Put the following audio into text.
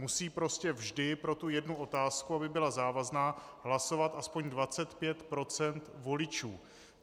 Musí prostě vždy pro tu jednu otázku, aby byla závazná, hlasovat aspoň 25 % voličů.